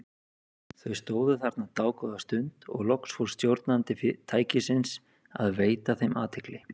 Þau stóðu þarna dágóða stund og loks fór stjórnandi tækisins að veita þeim athygli.